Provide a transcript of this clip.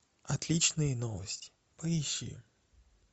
отличные новости поищи